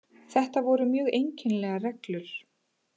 Þetta voru mjög einkennilegar reglur